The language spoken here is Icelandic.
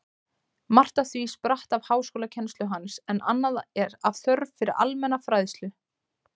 Margt af því spratt af háskólakennslu hans, en annað af þörf fyrir almenna fræðslu.